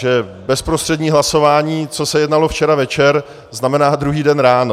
Že bezprostřední hlasování, co se jednalo včera večer, znamená druhý den ráno.